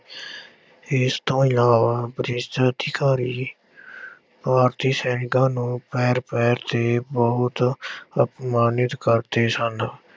ਇਸ ਤੋਂ ਇਲਾਵਾ ਬ੍ਰਿਟਿਸ਼ ਅਧਿਕਾਰੀ ਭਾਰਤੀ ਸੈਨਿਕਾਂ ਨੂੰ ਪੈਰ ਪੈਰ ਤੇ ਬਹੁਤ ਅਪਮਾਨਿਤ ਕਰਦੇ ਸਨ।